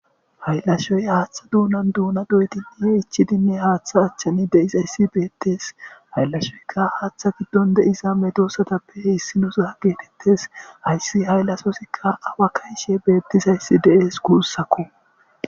Hayllashoy haaththa duunan duuna doytiihe ichidinne haaththa achchani deisayssi beettes hayllashoyka haaththa giddon deiza medosatappe heessi nuza geetettes hayssi hayllasosikka awa kayshe beettisayssi dees guussakko